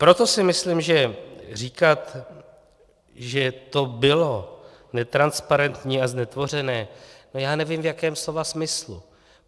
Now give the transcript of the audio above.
Proto si myslím, že říkat, že to bylo netransparentní a znetvořené, no, já nevím, v jakém slova smyslu.